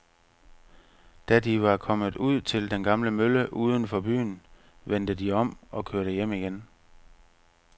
Da de var kommet ud til den gamle mølle uden for byen, vendte de om og kørte hjem igen.